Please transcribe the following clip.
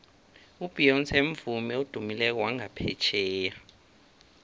ubeyonce mvumi odumileko wangaphetjheya